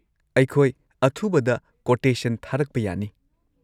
ꯑꯩꯈꯣꯏ ꯑꯊꯨꯕꯗ ꯀꯣꯇꯦꯁꯟ ꯊꯥꯔꯛꯄ ꯌꯥꯅꯤ꯫